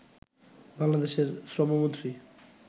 বাংলাদেশের শ্রমমন্ত্রী